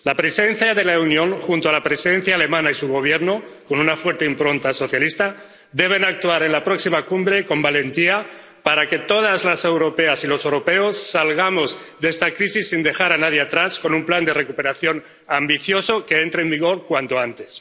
La Presidencia de la Unión junto a la Presidencia alemana y su Gobierno, con una fuerte impronta socialista, deben actuar en la próxima Cumbre con valentía para que todas las europeas y los europeos salgamos de esta crisis sin dejar a nadie atrás, con un plan de recuperación ambicioso que entre en vigor cuanto antes.